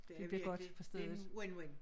Det virkelig det en win-win